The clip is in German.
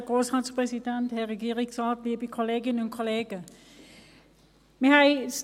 Wir nehmen den Bericht wie vorliegend zur Kenntnis.